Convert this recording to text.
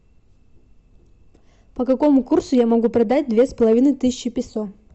по какому курсу я могу продать две с половиной тысячи песо